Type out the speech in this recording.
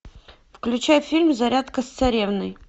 включай фильм зарядка с царевной